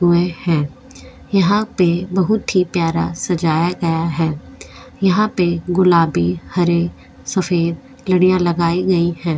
हुए हैं यहां पे बहुत ही प्यारा सजाया गया है यहां पे गुलाबी हरे सफेद लड़ियां लगाई गई है।